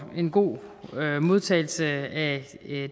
en god modtagelse af